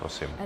Prosím.